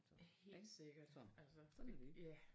Så ik så sådan er det